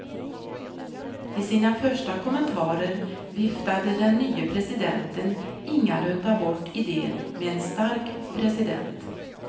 I sina första kommentarer viftade den nye presidenten ingalunda bort idén med en stark president.